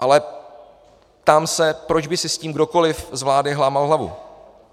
Ale ptám se, proč by si s tím kdokoli z vlády lámal hlavu.